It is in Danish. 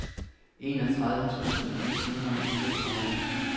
enogtredive tusind et hundrede og fireogtredive